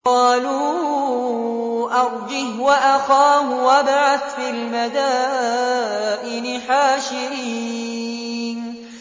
قَالُوا أَرْجِهْ وَأَخَاهُ وَابْعَثْ فِي الْمَدَائِنِ حَاشِرِينَ